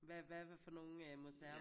Hvad hvad hvad for nogen øh museer?